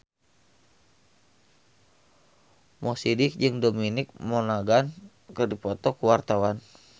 Mo Sidik jeung Dominic Monaghan keur dipoto ku wartawan